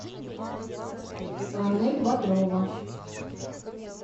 анель бодрова